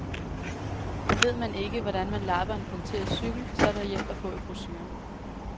Ved man ikke, hvordan man lapper en punkteret cykel, så er der hjælp at få i brochuren.